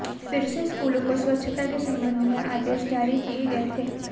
फिर से स्कूलों को स्वच्छता के संबंध में आदेश जारी किए गए थे